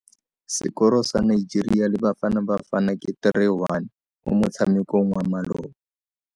Sekoro sa Nigeria le Bafanabafana ke 3-1 mo motshamekong wa maloba.